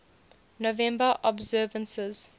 november observances